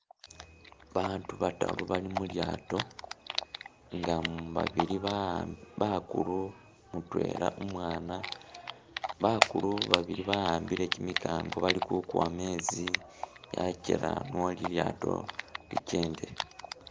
Baatu bataru bali mulyaato nga babili ba bakulu umwana mutwela umwana, bakulu babili bawambile kimikango bali ku kuwa mezi ne ajela ne lilyaato lichende.